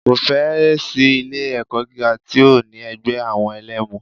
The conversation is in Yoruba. Kò fẹ́ ẹ̀ sí ilé ẹ̀kọ́ gíga tí ò ní ẹgbẹ́ àwọn ẹlẹmu.